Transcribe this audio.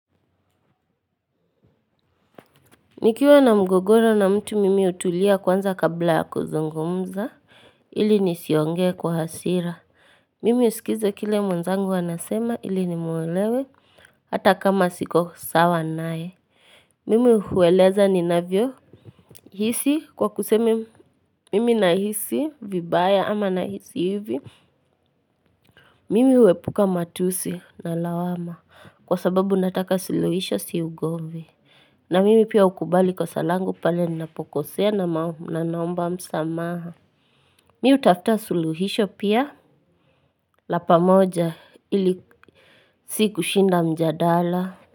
Nikiwa na mgogoro na mtu mimi hutulia kwanza kabla ya kuzungumza ili nisiongee kwa hasira. Mimi husikiza kile mwenzangu anasema ili nimwelewe hata kama siko sawa naye. Mimi hueleza ninavyohisi kwa kusema nahisi vibaya ama nahisi hivi. Mimi huepuka matusi na lawama kwa sababu nataka suluhisho si ugomvi. Na mimi pia hukubali kosa langu pale ninapokosea na naomba msamaha. Mimi hutafuta suluhisho pia la pamoja ili si kushinda mjadala.